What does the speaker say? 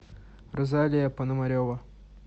розалия пономарева